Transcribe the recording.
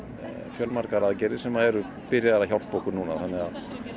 fjölmargar aðgerðir sem eru byrjaðar að hjálpa okkur núna þannig að